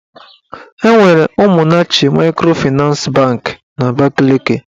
Enwere Ụmụnnachi maịkrofịnans banki n'Abakaliki.